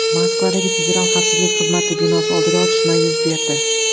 Moskvadagi Federal xavfsizlik xizmati binosi oldida otishma yuz berdi.